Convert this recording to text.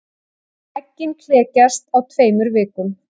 Eggin klekjast á tveimur vikum.